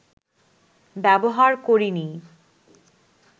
ব্যবহার করিনি